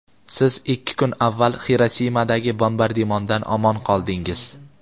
siz ikki kun avval Xirosimadagi bombardimondan omon qoldingiz.